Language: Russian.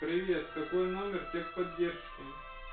привет какой номер техподдержки